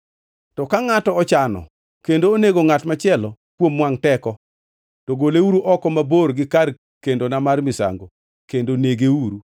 To ka ngʼato ochano kendo onego ngʼat machielo kuom wangʼ teko, to goleuru oko mabor gi kar kendona mar misango kendo negeuru.